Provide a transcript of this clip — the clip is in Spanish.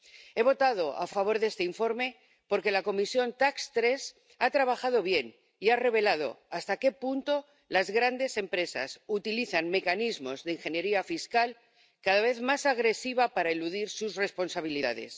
He votado a favor de este informe porque la Comisión TAX3 ha trabajado bien y ha revelado hasta qué punto las grandes empresas utilizan mecanismos de ingeniería fiscal cada vez más agresiva para eludir sus responsabilidades.